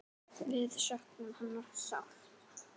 Við söknum hennar sárt.